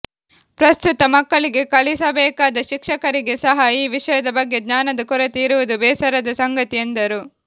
ಪ್ರಸ್ತುತ ಮಕ್ಕಳಿಗೆ ಕಲಿಸಬೇಕಾದ ಶಿಕ್ಷಕರಿಗೆ ಸಹ ಈ ವಿಷಯದ ಬಗ್ಗೆ ಜ್ಞಾನದ ಕೊರತೆ ಇರುವುದು ಬೇಸರದ ಸಂಗತಿ ಎಂದರು